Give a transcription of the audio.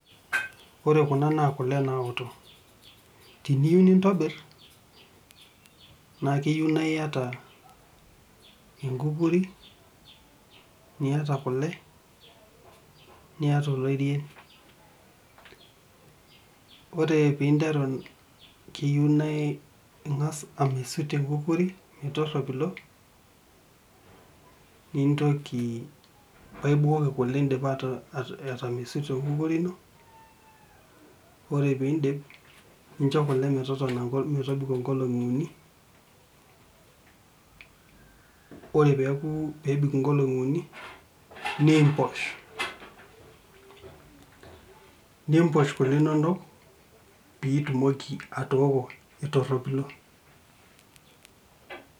Ore kuna naa kule naoto. Teniu nintobir, naa keyieu naa iyata enkukuri, niyata kule, niyata oloirien. Ore pinteru keyieu naa ing'as amesut enkukuri metorropilo, nintoki paibukoki kule indipa atamesuto enkukuri ino, ore pidip, nincho kule metotona metobiko nkolong'i uni, ore peku pebik inkolong'i uni, nimposh. Nimposh kule inonok, pitumoki atooko etorropilo.